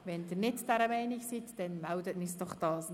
Wenn Sie nicht dieser Meinung sind, melden Sie sich bitte.